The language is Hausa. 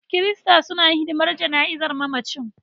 Kirista suna hidimar jana'izar mamacin.